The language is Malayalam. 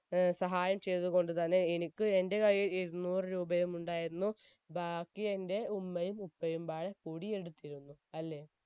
ഏർ വളരെ സഹായം ചെയ്തത് കൊണ്ട് തന്നെ എനിക്ക് എന്റെ കയ്യിൽ ഇരുന്നൂറ് രൂപയും ഉണ്ടായിരുന്നു ബാക്കി എന്റെ ഉമ്മയും ഉപ്പയുംമ്പാടെ കൂടി എടുത്തിരുന്നു അല്ലെ